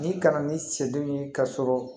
Ni kana ni sɛdenw ye ka sɔrɔ